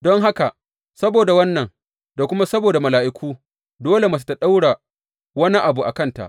Don haka, saboda wannan, da kuma saboda mala’iku, dole mace ta ɗaura wani abu a kanta.